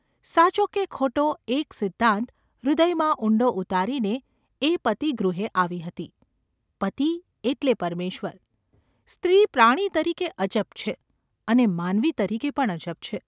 સાચો કે ખોટો એક સિદ્ધાંત હૃદયમાં ઊંડો ઉતારીને એ પતિગૃહે આવી હતી : પતિ એટલે પરમેશ્વર !​ સ્ત્રી પ્રાણી તરીકે અજબ છે, અને માનવી તરીકે પણ અજબ છે.